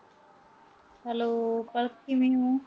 hello Palak ਕਿਵੇਂ ਓ।